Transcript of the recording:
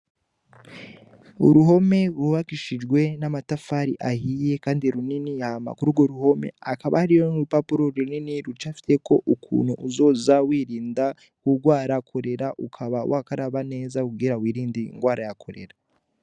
Uruhome rwubakishijwe n'amatafari ahiye kandi runini hama kuri urwo ruhome hakaba hariho nk'urupapuro runini rucafyeko ukuntu uzoza wirinda kugwara kolera ukaba wakaraba neza kugira wirinde ingwara ya kolera.